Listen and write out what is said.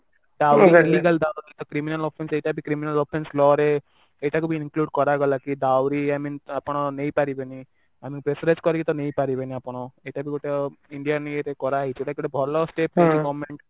criminal Offence ସେଇଟା ବି ତାର criminal Offence law ରେ ଏଇଟା କୁ ବି include କରାଗଲା କି ଦାଉରୀ I mean ଆପଣ ନେଇ ପାରିବେନି ମନେ pressure rise କରିକି ତ ନେଇ ପାରିବେନି ଆପଣ ଏଇଟା ବି ଗୋଟେ Indian ଇଏରେ କରାହେଇଛି ଯୋଉଟା କି ଗୋଟେ ଭଲ step ନେଇଛି government